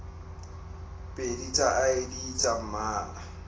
pedi tsa id tsa mmala